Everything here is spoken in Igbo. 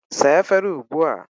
Saa efere ugbu a!